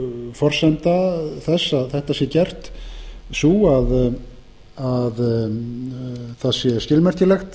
forsenda þess að þetta sé gert sú að það sé skilmerkilegt